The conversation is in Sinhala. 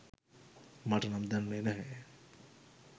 මට නම් දැනුනේ නැහැ.